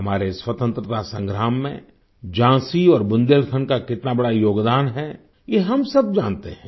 हमारे स्वतन्त्रता संग्राम में झाँसी और बुंदेलखंड का कितना बड़ा योगदान है ये हम सब जानते हैं